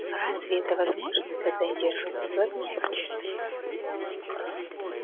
разве это возможно когда я держу вас в объятиях